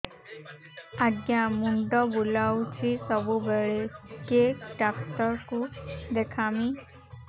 ଆଜ୍ଞା ମୁଣ୍ଡ ବୁଲାଉଛି ସବୁବେଳେ କେ ଡାକ୍ତର କୁ ଦେଖାମି